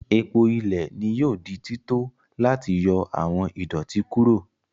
Epo ilẹ ni yoo di tito lati yọ awọn idoti kuro.